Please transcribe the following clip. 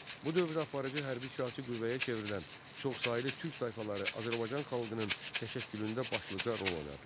Bu dövrdə aparıcı hərbi-siyasi qüvvəyə çevrilən çoxsaylı türk tayfaları Azərbaycan xalqının təşəkkülündə başlıca rol oynadılar.